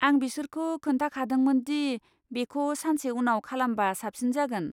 आं बिसोरखौ खोनथाखादोंमोन दि बेखौ सानसे उनाव खालामबा साबसिन जागोन।